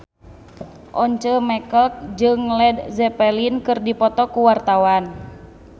Once Mekel jeung Led Zeppelin keur dipoto ku wartawan